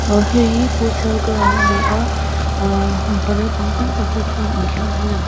ah heihi futsal ground ani a ahh mipa naupang tam tak te chuan inkhelh nan an--